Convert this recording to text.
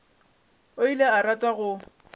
o ile a rata go